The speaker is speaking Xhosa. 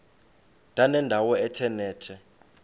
ndanendawo ethe nethe